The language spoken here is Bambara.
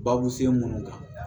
Babu sen mun kan